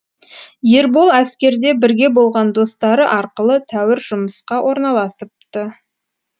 ербол әскерде бірге болған достары арқылы тәуір жұмысқа орналасыпты